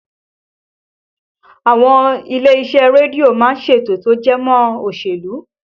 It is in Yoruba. Àwọn ilé iṣẹ́ rédíò má ń ṣètò tó jẹ mọ́ òṣèlú